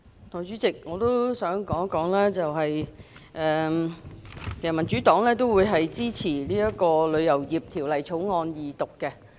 代理主席，民主黨會支持《旅遊業條例草案》的二讀。